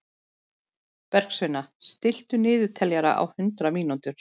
Bergsveina, stilltu niðurteljara á hundrað mínútur.